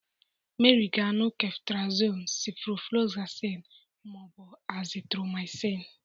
Meri ga anu Ceftriaxone, Ciprofloxacin, ma ọ bụ Azithromycin.